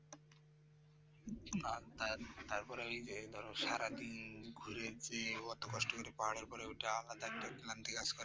না না তারপরে এই যে ধরো সারাদিন ঘুরে ফিরে এত কষ্ট করে পাহাড়ের উপরে ওঠা আলাদা একটি ক্লান্তি কাজ করছে